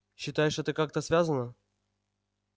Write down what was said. считаешь это как-то связано